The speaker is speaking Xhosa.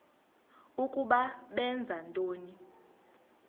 ukuba benza ntoni